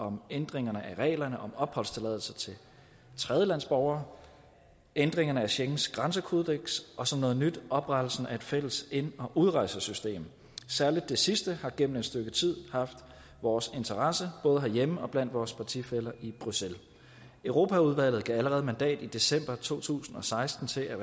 om ændringerne af reglerne om opholdstilladelse til tredjelandsborgere ændringerne af schengens grænsekodeks og som noget nyt oprettelsen af et fælles ind og udrejsesystem særlig det sidste har gennem et stykke tid haft vores interesse både herhjemme og blandt vores partifæller i bruxelles europaudvalget gav allerede mandat i december to tusind og seksten til at